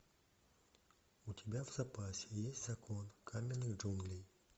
у тебя в запасе есть закон каменных джунглей